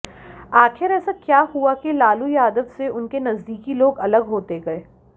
आखिर ऐसा क्या हुआ कि लालू यादव से उनके नजदीकी लोग अलग होते गए